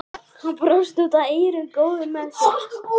Hann brosti út að eyrum, góður með sig.